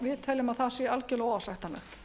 við teljum að það sé algjörlega óásættanlegt